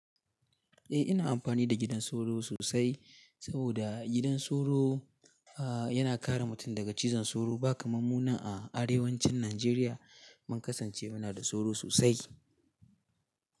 Eh ina amfani da gidan sauro sosai saboda gidan sauro, ah yana kare mutum daga cizon sauro. Ba kamar mu nan a arewacin Najeriya mun kasance muna da sauro sosai.